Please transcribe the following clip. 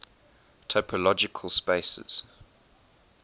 topological spaces